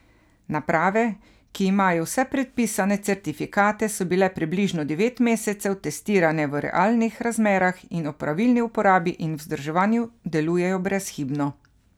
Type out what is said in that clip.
Naprave, ki imajo vse predpisane certifikate, so bile približno devet mesecev testirane v realnih razmerah in ob pravilni uporabi in vzdrževanju delujejo brezhibno.